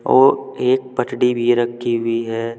और एक भी रखी हुई है।